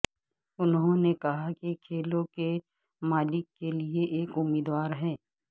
انہوں نے کہا کہ کھیلوں کے مالک کے لئے ایک امیدوار ہیں